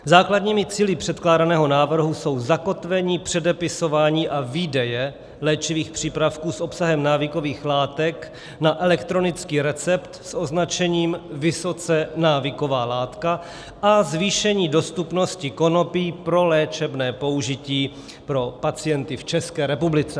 Základními cíli předkládaného návrhu jsou zakotvení předepisování a výdeje léčivých přípravků s obsahem návykových látek na elektronický recept s označením "vysoce návyková látka" a zvýšení dostupnosti konopí pro léčebné použití pro pacienty v České republice.